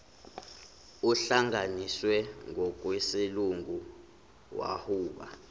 ohlanganiswe ngokwesilungu wawuba